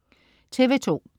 TV2: